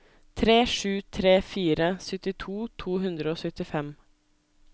tre sju tre fire syttito to hundre og syttifem